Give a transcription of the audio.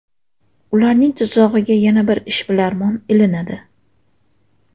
Ularning tuzog‘iga yana bir ishbilarmon ilinadi.